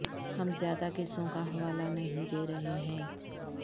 ہم زیادہ کیسوں کا حوالہ نہیں دے رہے ہیں